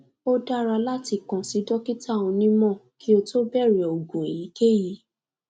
o dara latikan si dokita onimo ki o to bere ogun eyikeyi